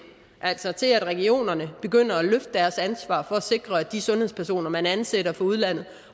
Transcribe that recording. altså til at regionerne begynder at løfte deres ansvar for at sikre at de sundhedspersoner man ansætter fra udlandet